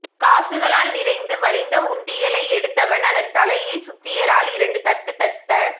காசுகளால் நிறைந்து வழிந்த உண்டியலை எடுத்தவன் அதன் தலையில் சுத்தியலால் இரண்டு தட்டு தட்ட